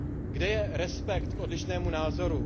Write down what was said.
Kde je respekt k odlišnému názoru?